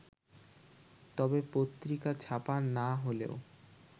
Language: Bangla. তবে পত্রিকা ছাপা না হলেও